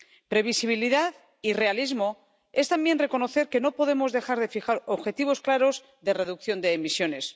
Previsibilidad y realismo es también reconocer que no podemos dejar de fijar objetivos claros de reducción de emisiones.